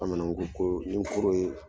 Bamananw ko ko ni kooro ye